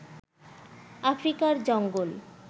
আফ্রিকার জঙ্গল